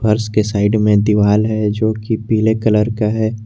फर्श के साइड में दीवाल है जोकि पीले कलर का है।